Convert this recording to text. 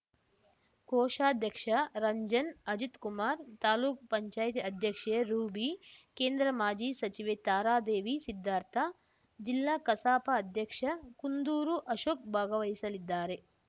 ಕೋಶಾಧ್ಯಕ್ಷ ರಂಜನ್‌ ಅಜಿತ್‌ಕುಮಾರ್ ತಾಲೂಕ್ಪಂಚಾಯತಿ ಅಧ್ಯಕ್ಷೆ ರೂಬೀ ಕೇಂದ್ರ ಮಾಜಿ ಸಚಿವೆ ತಾರಾದೇವಿ ಸಿದ್ಧಾರ್ಥ ಜಿಲ್ಲಾ ಕಸಾಪ ಅಧ್ಯಕ್ಷ ಕುಂದೂರು ಅಶೋಕ್‌ ಭಾಗವಹಿಸಲಿದ್ದಾರೆ